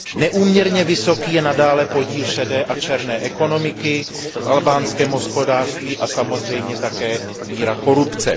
Neúměrně vysoký je i nadále podíl šedé a černé ekonomiky v albánském hospodářství a samozřejmě také míra korupce.